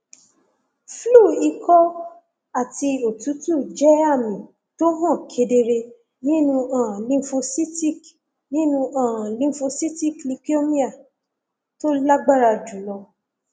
flu ikọ àti òtútù jẹ àmì tó hàn kedere nínú um lymphocytic nínú um lymphocytic leukemia tó lágbára jùlọ